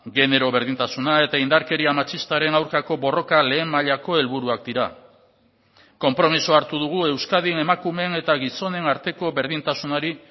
genero berdintasuna eta indarkeria matxistaren aurkako borroka lehen mailako helburuak dira konpromisoa hartu dugu euskadin emakumeen eta gizonen arteko berdintasunari